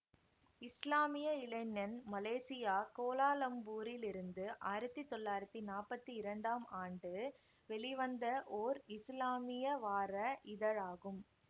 இஸ்லாமிய இளைஞன் மலேசியா கோலாலம்பூரிலிருந்து ஆயிரத்தி தொள்ளாயிரத்தி நாப்பத்தி இரண்டாம் ஆண்டு வெளிவந்த ஓர் இசுலாமிய வார இதழாகும்